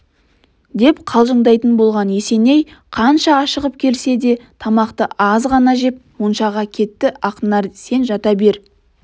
деп қалжыңдайтын болған есеней қанша ашығып келсе де тамақты аз ғана жеп моншаға кеттіақнар сен жата бер